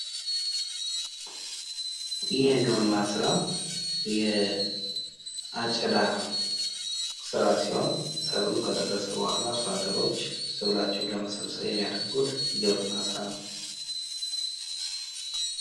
ይህ የግብርና ስራ የአጨዳ ስራ ሲሆን ሰብሉ ከደረሰ በኋላ አርሶአደሮች ሰብላቸውን ለመሰብሰብ የሚያደርጉት የግብርና ስራ ነው።